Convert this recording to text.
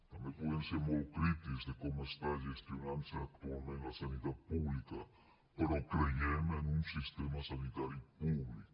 també podem ser molt crítics de com està gestionant se actualment la sanitat pública però creiem en un sistema sanitari públic